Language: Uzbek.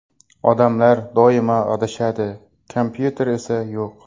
Odamlar doim adashadi, kompyuter esa yo‘q.